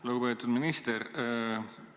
Lugupeetud minister!